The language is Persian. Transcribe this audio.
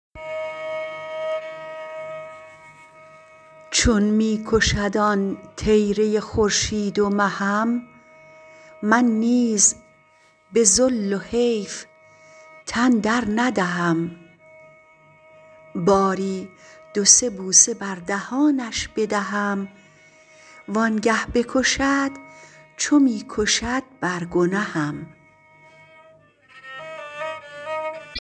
چون می کشد آن طیره خورشید و مهم من نیز به ذل و حیف تن در ندهم باری دو سه بوسه بر دهانش بدهم وانگه بکشد چو می کشد بر گنهم